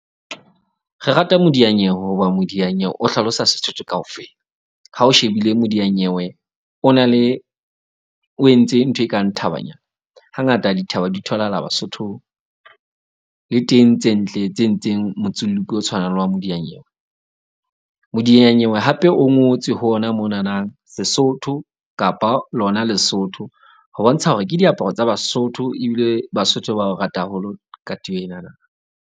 Re rata modiyanyewe hoba modianyewe o hlalosa Sesotho kaofela ha o shebile modianyewe. O na le o entse ntho e kang thabanyana. Hangata dithaba di tholahala Basothong le teng tse ntle tse entseng o tshwanang le wa modiyanyewe. Modiyanyewe hape o ngotswe ho ona monana, Sesotho kapa lona Lesotho. Ho bontsha hore ke diaparo tsa Basotho ebile Basotho ba o rata haholo katiba enana.